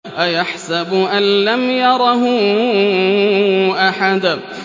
أَيَحْسَبُ أَن لَّمْ يَرَهُ أَحَدٌ